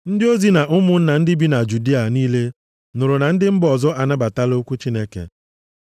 Ndị ozi na ụmụnna ndị bi na Judịa niile nụrụ na ndị mba ọzọ anabatala okwu Chineke.